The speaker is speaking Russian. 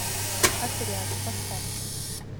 отряд поставь